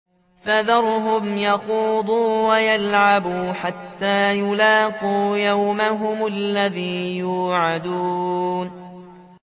فَذَرْهُمْ يَخُوضُوا وَيَلْعَبُوا حَتَّىٰ يُلَاقُوا يَوْمَهُمُ الَّذِي يُوعَدُونَ